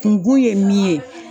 Kunkun ye min ye